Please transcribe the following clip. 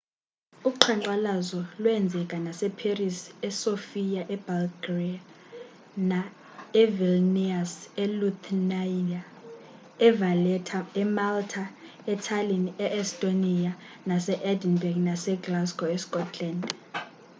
uqhankqalazo lweenzeka nase paris esofia ebulgaria evilnius elithuania evaletta emalta etallinn e-estonia nase-edinburgh naseglasgow escotland